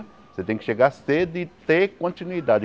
Você tem que chegar cedo e ter continuidade.